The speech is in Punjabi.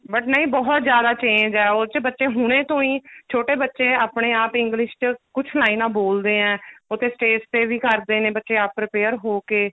but ਨਹੀਂ ਬਹੁਤ ਜਿਆਦਾ change ਹੈ ਉਹ ਚ ਬੱਚੇ ਹੁਣੇ ਤੋਂ ਹੀ ਛੋਟੇ ਬੱਚੇ ਆਪਣੇ ਆਪ english ਚ ਕੁੱਝ ਲਾਈਨਾ ਬੋਲਦੇ ਏ ਉੱਥੇ stage ਤੇ ਵੀ ਕਰਦੇ ਨੇ ਬੱਚੇ ਆਪ prepare ਹੋ ਕੇ